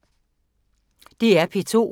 DR P2